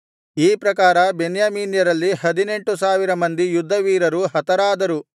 ಈ ಪ್ರಕಾರ ಬೆನ್ಯಾಮೀನ್ಯರಲ್ಲಿ ಹದಿನೆಂಟು ಸಾವಿರ ಮಂದಿ ಯುದ್ಧವೀರರು ಹತರಾದರು